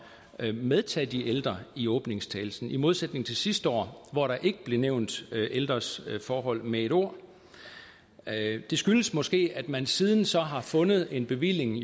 at medtage de ældre i åbningstalen i modsætning til sidste år hvor der ikke blev nævnt ældres forhold med ét ord det skyldes måske at man siden så har fundet en bevilling